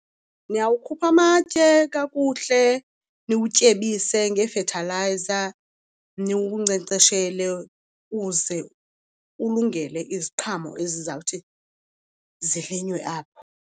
Niyawukhupha amatye kakuhle, niwutyebise ngeefethalayiza, niwunkcenkceshele uze ulungele iziqhamo ezizawuthi zilinywe apho.